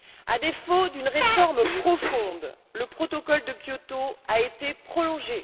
À défaut d'une réforme profonde, le protocole de Kyoto a été prolongé.